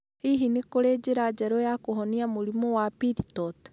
Hihi nĩ kũrĩ njĩra njerũ cia kũhonia mũrimũ wa pili torti?